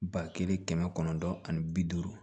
Ba kelen kɛmɛ kɔnɔntɔn ani bi duuru